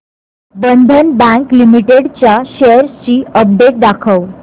बंधन bank limited च्या shares ची update दाखव